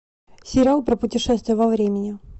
сериал про путешествие во времени